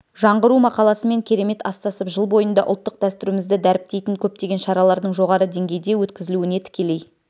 жаңғыру мақаласымен керемет астасып жыл бойында ұлттық дәстүрімізді дәріптейтін көптеген шаралардың жоғары деңгейде өткізілуіне тікелей